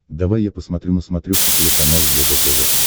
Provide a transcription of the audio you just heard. давай я посмотрю на смотрешке телеканал егэ тв